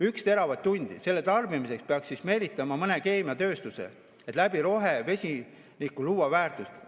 Ühe teravatt-tunni tarbimiseks peaks siia meelitama mõne keemiatööstuse, et rohevesiniku abil väärtust luua.